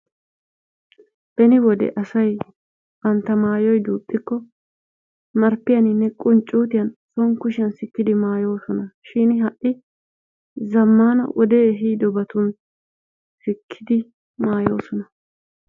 Beni wode asay banntta maayot duuxxiko marppiyaaninne qunccutiyaan son siikkidi maayoosona. Shin ha'i zammaana wodee ehiidobatun siikidi maayoosona.